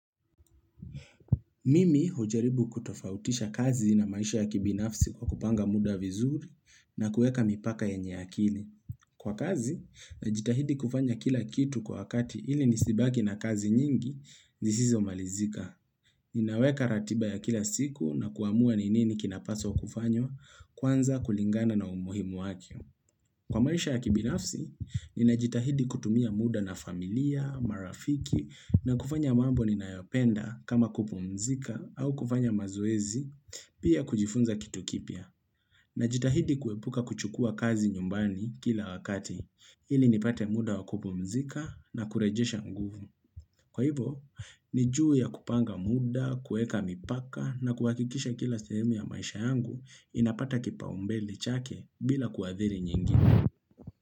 Mimi hujaribu kutofautisha kazi na maisha ya kibinafsi, kwa kupanga muda vizuri na kueka mipaka yenye akili. Kwa kazi, najitahidi kufanya kila kitu kwa kati ili nisibaki na kazi nyingi, sizomalizika. Ninaweka ratiba ya kila siku na kuhamua ni nini kinapaswa kufanywa kwanza kulingana na umuhimu wake. Kwa maisha ya kibinafsi, ninajitahidi kutumia muda na familia, marafiki, na kufanya mambo ninayopenda kama kupumzika au kufanya mazoezi, pia kujifunza kitu kipya. Najitahidi kuepuka kuchukua kazi nyumbani kila wakati, ili nipate muda wa kupumzika na kurejesha nguvu. Kwa hivo, ni juu ya kupanga muda, kueka mipaka na kuhakikisha kila sehemu ya maisha yangu inapata kipaumbele chake bila kuadhiri nyingine.